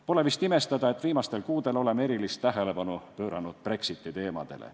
Pole vist imestada, et viimastel kuudel oleme erilist tähelepanu pööranud Brexiti teemadele.